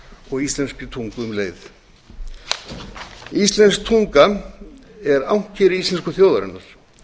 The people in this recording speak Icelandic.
og íslenskri tungu um leið íslensk tunga er ankeri íslensku þjóðarinnar